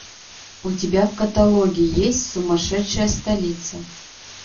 у тебя в каталоге есть сумасшедшая столица